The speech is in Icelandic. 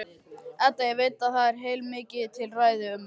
Edda veit að það er heilmikið til í ræðu mömmu.